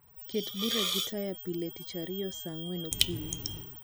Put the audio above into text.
ket bura gi taya pile tich ariyo saa angwen okinyi